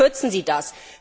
Warum kürzen Sie das?